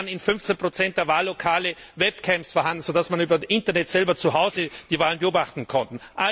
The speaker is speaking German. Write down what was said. Es waren in fünfzehn Prozent der Wahllokale Webcams vorhanden, so dass man über das Internet zu Hause selber die Wahlen beobachten konnte.